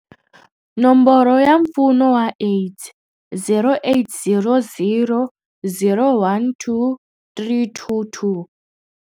Nomboro ya Mpfuno wa AIDS- 0800 012 322.